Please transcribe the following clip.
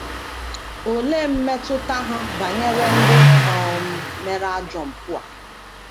Olee mmetụta ha banyere ndị um mere ajọ mpụ a?